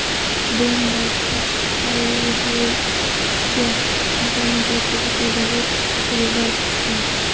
Bomba Faurecia kompaniyasiga tegishli zavod ustiga borib tushgan.